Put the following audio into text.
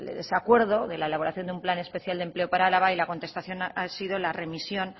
ese acuerdo de la elaboración de un plan especial de empleo para álava y la contestación ha sido la remisión